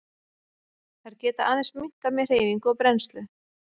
Þær geta aðeins minnkað með hreyfingu og brennslu.